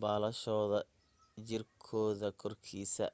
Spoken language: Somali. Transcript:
baalashooda jirkooda korkiisa